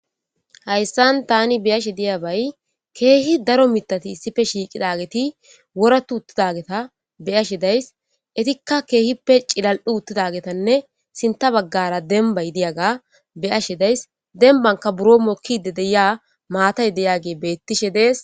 hayssan tani beyashe diyabay keehi daro mitati issife shiiqidageti woratu uttidageta beyashe days itikka keehip pe ci lal'u uttidagetanne sinta baggara dembay diyaga beyashe days denbanka buro mokkide deya maatay deyage bettishe dees.